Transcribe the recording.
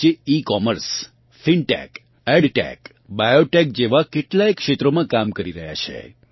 જે ecommerce fintech edtech biotech જેવાં કેટલાંય ક્ષેત્રોમાં કામ કરી રહ્યાં છે